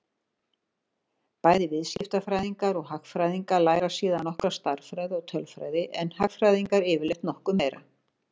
Bæði viðskiptafræðingar og hagfræðingar læra síðan nokkra stærðfræði og tölfræði en hagfræðingarnir yfirleitt nokkuð meira.